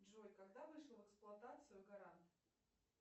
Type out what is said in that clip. джой когда вышел в эксплуатацию гарант